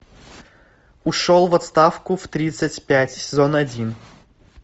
ушел в отставку в тридцать пять сезон один